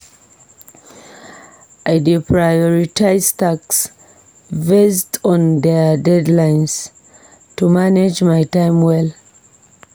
I dey prioritize tasks based on their deadlines to manage my time well.